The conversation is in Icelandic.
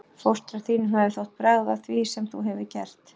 Fóstra þínum hefði þótt bragð að því sem þú hefur gert.